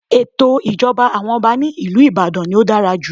Ètò ìjọba àwọn Ọba ní ìlú Ìbàdàn ni ó dára jù.